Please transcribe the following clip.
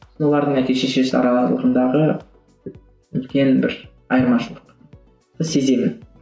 олардың әке шешесі араларындағы үлкен бір айырмашылықты сеземін